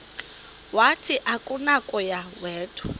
wathi akunakuya wedw